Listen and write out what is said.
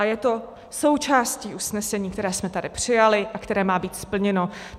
A je to součástí usnesení, které jsme tady přijali a které má být splněno.